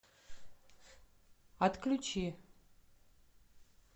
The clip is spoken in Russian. отключи